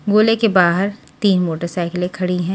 गोले के बाहर तीन मोटरसाइकिले खड़ी हैं।